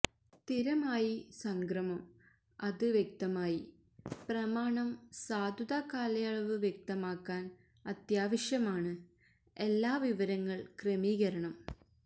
സ്ഥിരമായി സംഗ്രഹം അത് വ്യക്തമായി പ്രമാണം സാധുത കാലയളവ് വ്യക്തമാക്കാൻ അത്യാവശ്യമാണ് എല്ലാ വിവരങ്ങൾ ക്രമീകരണം